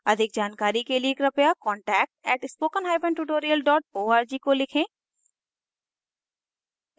अधिक जानकारी के लिए कृपया contact @spokentutorial org को लिखें